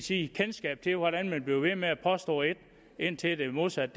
sige kendskab til hvordan man bliver ved med at påstå et indtil det modsatte